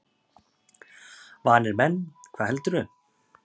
Vanir menn, hvað heldurðu!